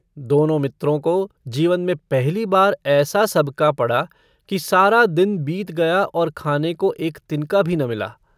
दोनों मित्रों को जीवन में पहली बार ऐसा सबका पड़ा कि सारा दिन बीत गया और खाने को एक तिनका भी न मिला।